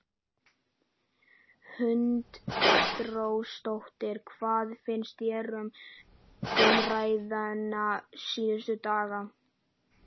Hrund Þórsdóttir: Hvað finnst þér um umræðuna síðustu daga?